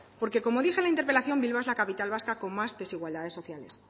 porque como dice la interpelación bilbao es la capital vasca con más desigualdades sociales